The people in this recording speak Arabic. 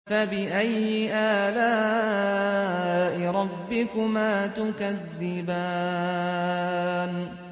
فَبِأَيِّ آلَاءِ رَبِّكُمَا تُكَذِّبَانِ